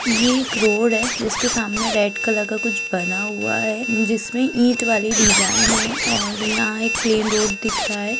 यह एक रोड है जिसके सामने रेड कलर का कुछ बना हुआ है जिसमें ईंट वाली डिज़ाइन है और यहाँ एक प्लेन रोड दिख रहा है।